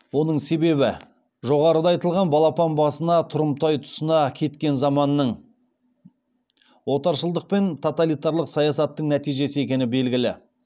оның себебі жоғарыда айтылған балапан басына тұрымтай тұсына кеткен заманның отаршылдық пен тоталитарлық саясаттың нәтижесі екені белгілі